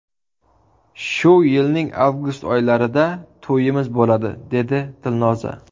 Shu yilning avgust oylarida to‘yimiz bo‘ladi”, dedi Dilnoza.